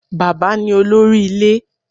Bàbá ni Olórí Ilé